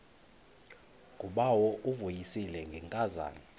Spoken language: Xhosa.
ngubawo uvuyisile ngenkazana